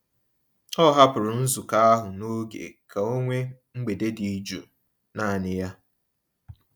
O hapụrụ nzukọ ahụ n'oge ka o nwee mgbede dị jụụ naanị ya.